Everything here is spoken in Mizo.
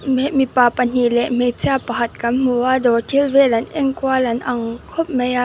mipa pahnih leh hmeichhia pakhat kan hmu a dawr thil vel an en kual an ang khawp mai a.